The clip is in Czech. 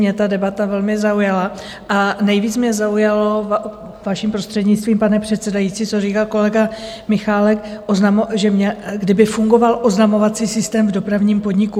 Mě ta debata velmi zaujala a nejvíc mě zaujalo, vaším prostřednictvím, pane předsedající, co říkal kolega Michálek, že kdyby fungoval oznamovací systém v dopravním podniku.